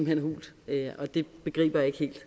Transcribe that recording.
hen hult og det begriber jeg ikke helt